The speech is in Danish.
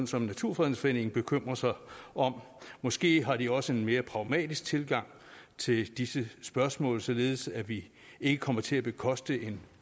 som naturfredningsforeningen bekymrer sig om måske har de også en mere pragmatisk tilgang til disse spørgsmål således at vi ikke kommer til at bekoste en